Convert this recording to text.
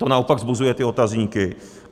To naopak vzbuzuje ty otazníky.